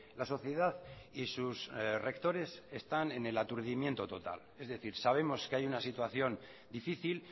la sociedad y sus rectores están en el aturdimiento total es decir sabemos que hay una situación difícil